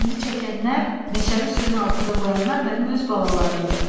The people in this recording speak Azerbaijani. Bəndi çəkənlər, meşəni suyun altında qoyanlar mənim öz balalarımdır.